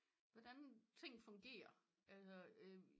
Hvordan ting fungerer